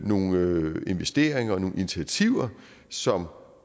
nogle investeringer og nogle initiativer som